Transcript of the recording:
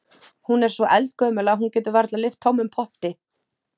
Hún er svo eldgömul að hún getur varla lyft tómum potti.